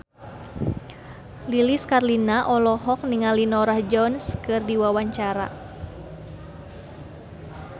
Lilis Karlina olohok ningali Norah Jones keur diwawancara